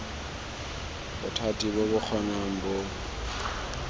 bothati bo bo kgonang bo